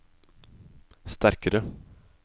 sterkare